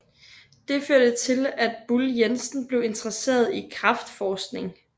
Det førte til at Buhl Jensen blev interesseret i kræftforskning